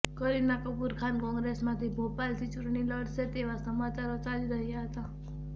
કરિના કપૂર ખાન કોંગ્રેસમાંથી ભોપાલથી ચૂંટણી લડશે તેવા સમાચારો ચાલી રહ્યા હતા